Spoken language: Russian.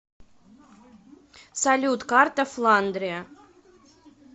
салют карта фландрия